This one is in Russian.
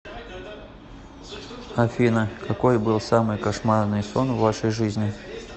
афина какой был самый кошмарный сон в вашей жизни